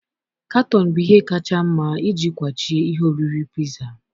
Katọn bụ ihe kacha mma iji kwachie ihe oriri piza